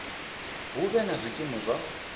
hu vhe na zwikimu zwa